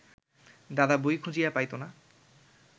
দাদা বই খুঁজিয়া পাইত না